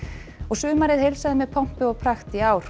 sumarið heilsaði með pompi og prakt í ár